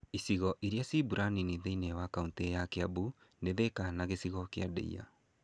Icigo irĩa cia mbura nini thĩiniĩ wa kaunitĩ ya Kĩambu nĩ Thĩka na gĩcigo kĩa Ndeiya.